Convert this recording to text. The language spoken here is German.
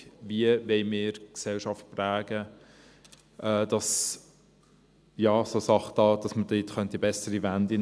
Wie wollen wir die Gesellschaft prägen, damit es hier eine Wende zum Besseren geben könnte?